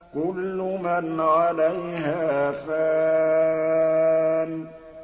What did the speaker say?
كُلُّ مَنْ عَلَيْهَا فَانٍ